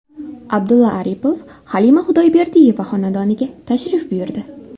Abdulla Aripov Halima Xudoyberdiyeva xonadoniga tashrif buyurdi.